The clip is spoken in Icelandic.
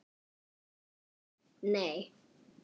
Jón: Nei.